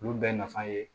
Olu bɛɛ nafa ye